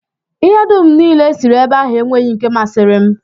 Ihe dum e siri ebe ahụ enweghị nke masịrị m.